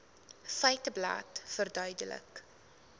feiteblad verduidelik